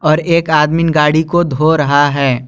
और एक आदमी गाड़ी को धो रहा है।